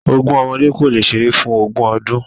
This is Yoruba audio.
Ogún ọmọdé kò lè ṣeré fún ogún ọdún.